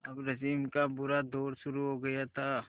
अब रश्मि का बुरा दौर शुरू हो गया था